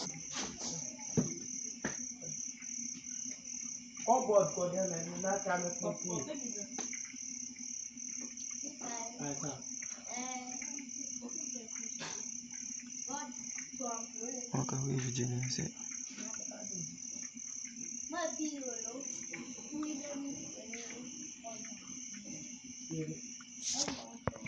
Ɔka wa eʋiɖze ni ɛsɛ